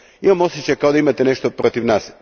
Imam osjećaj kao da imate nešto protiv nas.